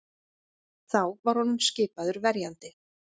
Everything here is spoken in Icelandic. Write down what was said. Þá var honum skipaður verjandi